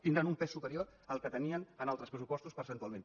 tindran un pes superior al que tenien en altres pressupostos percentualment